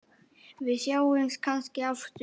Við sjáumst kannski aftur.